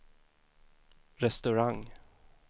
restaurang